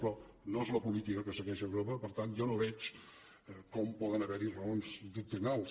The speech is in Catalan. però no és la política que segueix europa per tant jo no veig com poden haver hi raons doctrinals